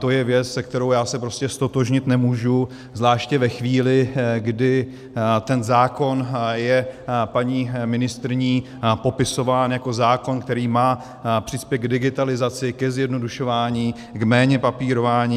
To je věc, se kterou já se prostě ztotožnit nemůžu, zvláště ve chvíli, kdy ten zákon je paní ministryní popisován jako zákon, který má přispět k digitalizaci, ke zjednodušování, k méně papírování.